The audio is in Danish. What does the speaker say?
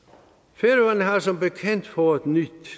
færøerne har som bekendt fået nyt